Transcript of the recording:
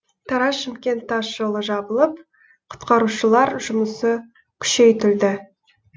тараз шымкент тас жолы жабылып құтқарушылар жұмысы күшейтілді